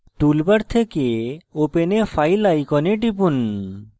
toolbar থেকে open a file icon টিপুন